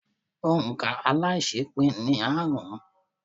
Òǹ̀kà aláiṣẹépín ni aárùn-ún.